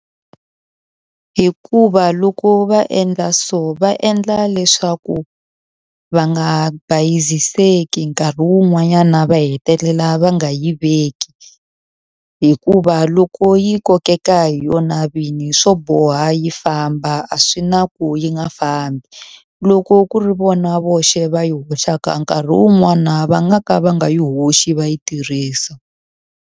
Hikuva loko va endla so va endla leswaku va nga bayiziseka nkarhi wun'wanyana va hetelela va nga yi veki. Hikuva loko yi kokeka hi vona vinyi swo boha yi famba, a swi na ku yi nga fambi. Loko ku ri vona voxe va yi hoxaka nkarhi wun'wana va nga ka va nga yi hoxi, va yi tirhisa.